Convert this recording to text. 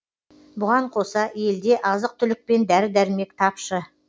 бұған қоса елде азық түлік пен дәрі дәрмек тапшы